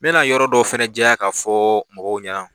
N bɛ na yɔrɔ dɔ fɛnɛ jɛya ka fɔɔ mɔgɔw ɲɛna.